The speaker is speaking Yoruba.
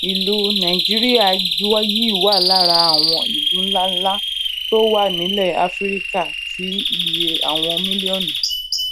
ìlú nàìjíríà yìí wà lára àwọn ìlú ńláńlá tó tó wà nílè áfíríkà tí iye àwọn mílíònù